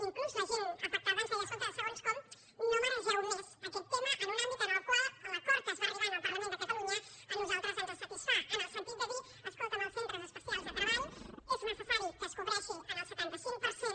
inclús la gent afectada ens deia escolta segons com no maregeu més aquest tema en un àmbit en el qual l’acord a què es va arribar en el parlament de catalunya a nosaltres ens satisfà en el sentit de dir escolta’m els centres especials de treball és necessari que es cobreixin en el setanta cinc per cent